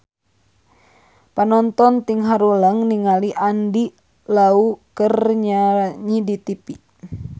Panonton ting haruleng ningali Andy Lau keur nyanyi di tipi